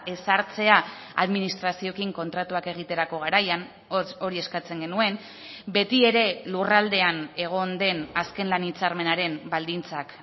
ezartzea administrazioekin kontratuak egiterako garaian hori eskatzen genuen beti ere lurraldean egon den azken lan hitzarmenaren baldintzak